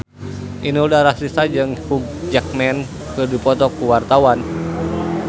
Inul Daratista jeung Hugh Jackman keur dipoto ku wartawan